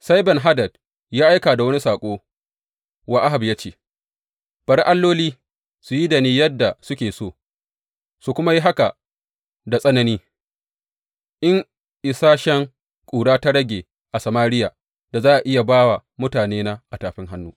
Sai Ben Hadad ya aika da wani saƙo wa Ahab, ya ce, Bari alloli su yi da ni yadda suke so, su kuma yi haka da tsanani, in isashen ƙura ta rage a Samariya da za a iya ba wa mutanena a tafin hannu.